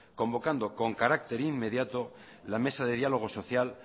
convocando con carácter inmediato la mesa de diálogo social